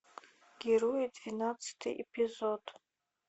герои двенадцатый эпизод